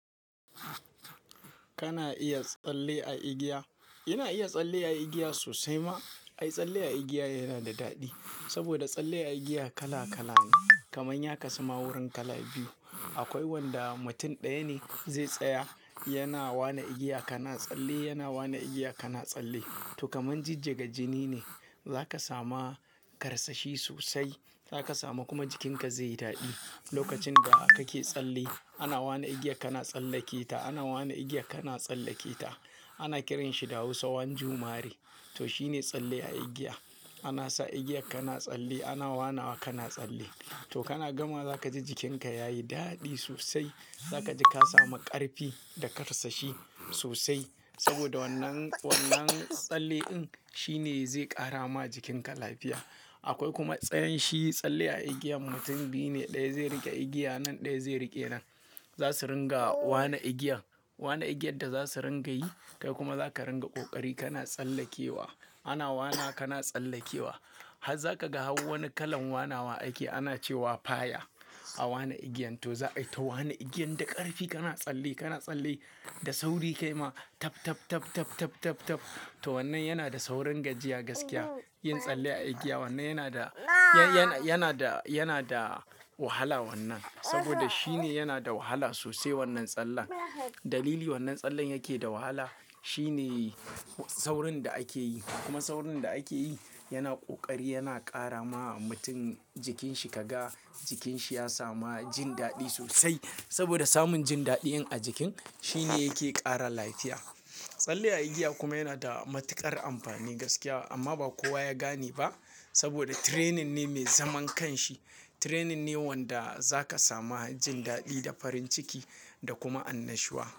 Kana iya tsalle a igiya? Ina iya tsalle a igiya sosai ma. Ai, tsalle a igiya yana da daɗi saboda tsalle a igiya kala kala ne. Kamar ya kasu ma wurin kala biyu. Akwai wanda mutum ɗaya ne zai tsaya yana waina igiya kana tsalle, yana waina igiya kana tsalle. To kamar jijjiga jini ne. Zaka samu karsashi sosai. Zaka samu kuma jikinka zai yi daɗi. Lokacin da kake tsalle ana waina igiyar kana tsallake ta, ana waina igiyar kana tsallake ta. Ana kiranshi da Hausa one Jumare" to shine tsalle a igiya. Ana sa igiya kana tsalle, ana waina wa kana tsalle. To kana gama za ka ji jikinka yayi daɗi sosai. Zaka ji ka samu ƙarfi da karsashi sosai saboda wannan, wannan tsalle ɗin shine zai ƙara ma jikinka lafiya. Akwai kuma tsayin shi tsalle a igiya mutum biyu ne, ɗaya zai riƙe igiya nan, ɗaya zai riƙe nan. Zasu dinga waia igiyar, waina igiyar da za su ringa yi kai kuma za ka dinga ƙoƙari kana tsallakewa. Ana wainawa kana tsallakewa. Har zaka ga har wani kalar wainawa ake ana cewa "fire" a waine igiyan. To za aita waina igiyar da ƙarfi kana tsalle, kana tsalle da sauri kaima tab, tab, tab, tab, tab, tab, tab. To wannan yana da saurin gajiya gaskiya. Yin tsalle a igiya wannan yana da, yan-yana, yana da, yana da wahala wannan saboda shine yana da wahala sosai wannan tsallen. Dalilin da wannan tsallen yake da wahala shine saurin da ake yi kuma saurin da ake yi yana ƙoƙari yana ƙara ma mutum jikinshi ka ga jikinshu ya samu jin daɗi sosai saboda samun jin daɗi a jikin shine yake ƙara lafiya. Tsalle a igiya kuma yana da matuƙar amfani gaskiya amma ba kowa ya gane ba saboda training ne mai zaman kanshi. Training ne wanda za ka samu jin daɗi da farin ciki da kuma annashuwa.